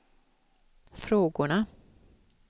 frågorna